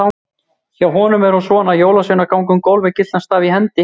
Hjá honum er hún svona: Jólasveinar ganga um gólf með gyltan staf í hendi.